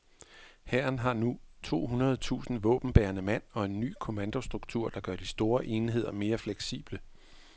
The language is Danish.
Hæren har nu to hundrede tusind våbenbærende mand og en ny kommandostruktur, der gør de store enheder mere fleksible.